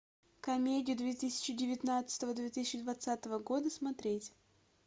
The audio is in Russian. комедия две тысяча девятнадцатого две тысячи двадцатого года смотреть